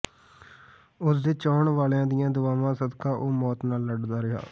ਉਸਦੇ ਚਾਹੰਣ ਵਾਲਿਆਂ ਦੀਆਂ ਦੁਆਵਾਂ ਸਦਕਾ ਉਹ ਮੌਤ ਨਾਲ ਲੜਦਾ ਰਿਹਾ